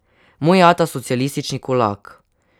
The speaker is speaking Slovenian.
Moj ata, socialistični kulak.